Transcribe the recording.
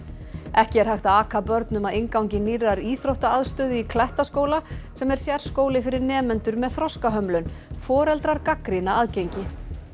ekki er hægt að aka börnum að inngangi nýrrar íþróttaaðstöðu í Klettaskóla sem er sérskóli fyrir nemendur með þroskahömlun foreldrar gagnrýna aðgengi